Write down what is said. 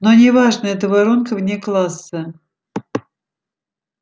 но не важно это воронка вне класса